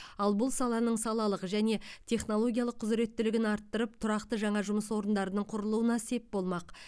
ал бұл саланың салалық және технологиялық құзіреттілігін арттырып тұрақты жаңа жұмыс орындарының құрылуына сеп болмақ